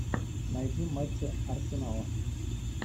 найди матчи арсенала